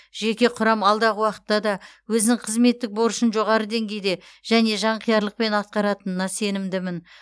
жеке құрам алдағы уақытта да өзінің қызметтік борышын жоғары деңгейде және жанқиярлықпен атқаратынына сенімдімін